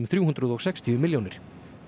þrjú hundruð og sextíu milljónir